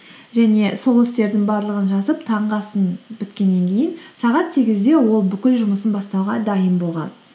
және сол істердің барлығын жазып таңғы асын біткеннен кейін сағат сегізде ол бүкіл жұмысын бастауға дайын болған